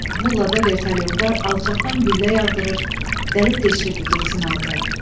Bu ullada vertolyotlar alçaqdan güllə yağdırır, dəlib deşirdi, getsin alta.